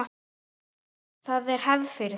Það er hefð fyrir því.